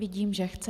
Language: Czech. Vidím, že chce.